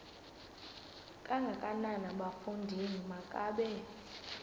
kangakanana bafondini makabe